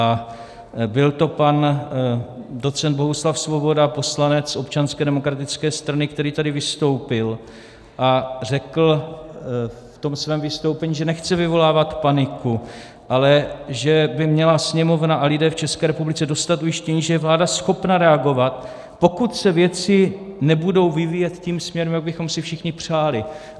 A byl to pan docent Bohuslav Svoboda, poslanec Občanské demokratické strany, který tady vystoupil a řekl v tom svém vystoupení, že nechce vyvolávat paniku, ale že by měla Sněmovna a lidé v České republice dostat ujištění, že je vláda schopna reagovat, pokud se věci nebudou vyvíjet tím směrem, jak bychom si všichni přáli.